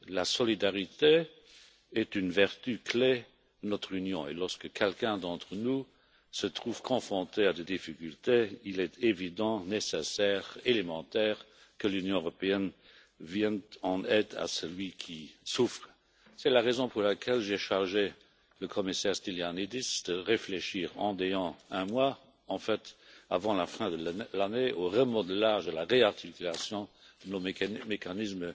La solidarité est une vertu clé de notre Union, et lorsque l'un d'entre nous se trouve confronté à des difficultés, il est évident, nécessaire, élémentaire, que l'Union européenne vienne en aide à celui qui souffre. C'est la raison pour laquelle j'ai chargé le commissaire Stylianides de réfléchir d'ici un mois en fait, avant la fin de l'année au remodelage, à la réarticulation de nos mécanismes